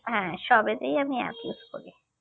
হ্যাঁ সবেতেই আমি app use করি